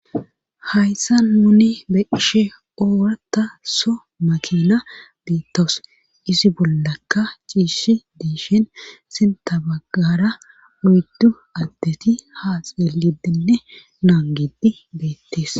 hayssan nuni be'she oorata so makina deettawus isi bollakka ciishi diishin sin tabagara uyddu addeti ha xeelidenne naangidi beettees